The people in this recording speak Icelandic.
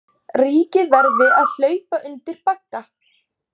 Ríkið verði að hlaupa undir bagga